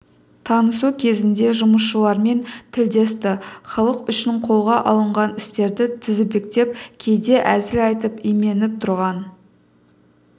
танысу кезінде жұмысшылармен тілдесті халық үшін қолға алынған істерді тізбектеп кейде әзіл айтып именіп тұрған